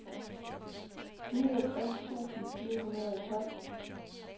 niogtres tusind fire hundrede og tolv